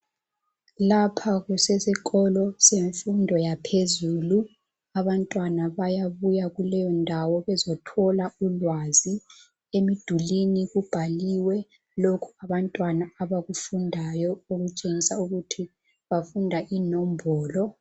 Lapha kusesikolo semfundo yaphezulu. Abantwana bayabuya kuleyondawo bezothola ulwazi. Emdulwini kubhaliwe lokho abantwana abakufundayo okutshengisa ukuthi bafunda inombolo.